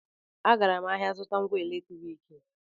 Agara m ahịa ịzụta ngwa eletriki